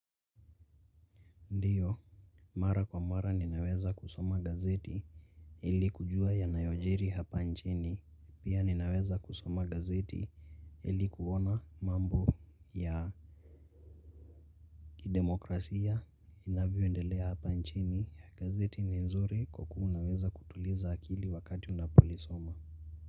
Ndio. Mara kwa mara ninaweza kusoma gazeti ili kujua yanayojiri hapa nchini. Pia ninaweza kusoma gazeti ili kuona mambo ya kidemokrasia inayoendelea hapa nchini ya gazeti ni nzuri kwa kuwa unaweza kutuliza akili wakati unapolisoma.